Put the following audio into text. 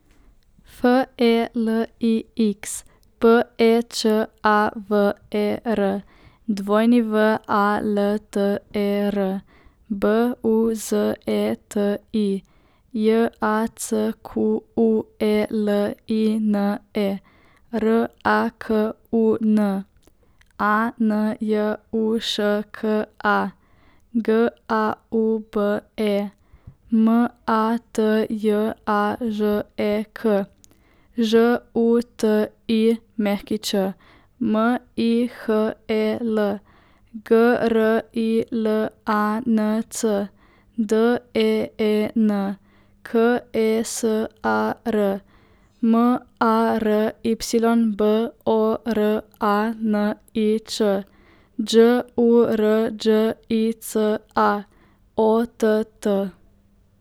Felix Pečaver, Walter Buzeti, Jacqueline Rakun, Anjuška Gaube, Matjažek Žutić, Mihel Grilanc, Deen Kesar, Mary Boranič, Đurđica Ott.